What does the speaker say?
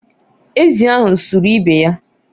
ezì ahụ sụrụ ibe ya